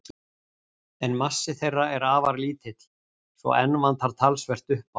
En massi þeirra er afar lítill, svo enn vantar talsvert upp á.